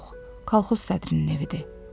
Yox, kolxoz sədrinin evidir.